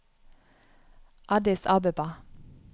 Addis Abeba